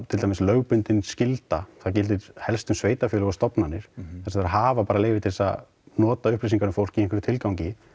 til dæmis lögbundin skylda það gildir helstu sveitafélög og stofnanir þar sem þau hafa bara leyfi til að nota upplýsingar um fólk í einhverjum tilgangi